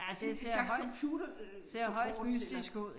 Det en slags computerforkortelse eller